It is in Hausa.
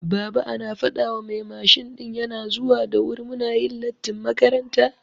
Baba ana fadawa mai mashin ɗin yana zuwa da wuri muna yin lattin makaranta